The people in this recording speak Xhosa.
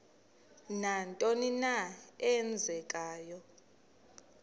nantoni na eenzekayo